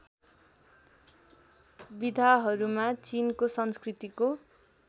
विधाहरूमा चिनको संस्कृतिको